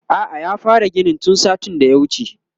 a'a ya fara ginin tun satin da ya wuce